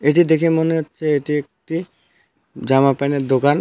এটি দেখে মনে হচ্ছে এটি একটি জামা প্যানের দোকান.